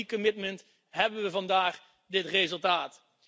Dankzij dat commitment hebben we vandaag dit resultaat.